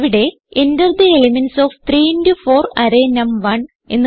ഇവിടെ Enter the elements of 3 into 4 array നം1